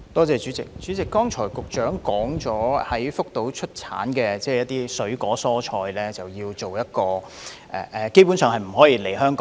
主席，局長剛才表示，在福島出產的水果、蔬菜基本上不能進口香港。